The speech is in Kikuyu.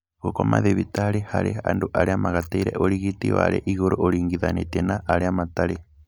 Gũkoma thibitarĩ harĩ andũ arĩa magatĩire ũrigiti warĩ igũrũ ũringithanĩtie na arĩa matarĩ